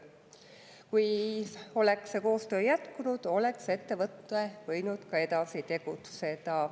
Kui see koostöö oleks jätkunud, oleks ettevõte võinud ka edasi tegutseda.